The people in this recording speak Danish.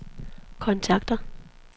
kontakter